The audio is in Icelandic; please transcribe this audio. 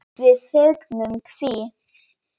Við fögnum því.